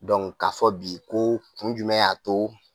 k'a fɔ bi ko kun jumɛn y'a to